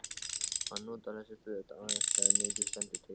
Hann notar þessi föt aðeins þegar mikið stendur til.